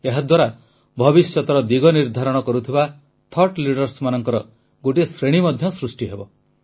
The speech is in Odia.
ଏହାଦ୍ୱାରା ଭବିଷ୍ୟତର ଦିଗ ନିର୍ଦ୍ଧାରଣ କରୁଥିବା ବୁଦ୍ଧିଜୀବି ମାନଙ୍କର ଗୋଟିଏ ଶ୍ରେଣୀ ମଧ୍ୟ ସୃଷ୍ଟି ହେବ